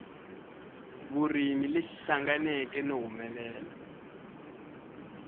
vurimi lexi hlanganeke no humelela